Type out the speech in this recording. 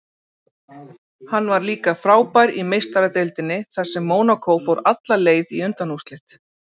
Hann var líka frábær í Meistaradeildinni þar sem Mónakó fór alla leið í undanúrslit.